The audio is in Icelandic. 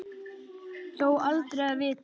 Þó aldrei að vita.